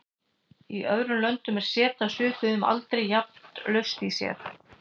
Í öðrum löndum er set af svipuðum aldri jafnan laust í sér.